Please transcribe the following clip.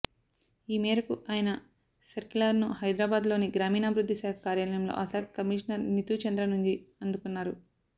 ఈ మేరకు ఆయన సర్కిలర్ను హైదరాబాద్లోని గ్రామీణాభివృద్ధి శాఖ కార్యాలయంలో ఆ శాఖ కమీషనర్ నీతూచంద్ర నుంచి అందుకున్నారు